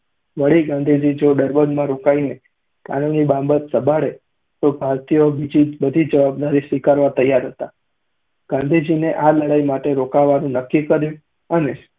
વળી, ગાંધીજી જો ડર્બનમાં રોકાઈને કાનૂની બાબતો સંભાળે તો ભારતીયો બીજી બધી જવાબદારી સ્વીકારવા તૈયાર હતા. ગાંધીજીએ આ લડાઈ માટે રોકાવાનું નક્કી કર્યું અને